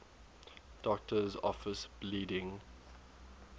doctor's office bleeding